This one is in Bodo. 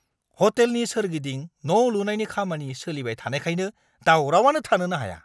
हटेलनि सोरगिदिं न'लुनायनि खामानि सोलिबाय थानायखायनो दावरावआनो थानोनो हाया।